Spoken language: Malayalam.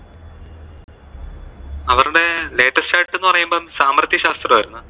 latest ആയിട്ട് എന്ന് പറയുമ്പോ സാമർത്യശാസ്ത്രം ആയിരുന്നു.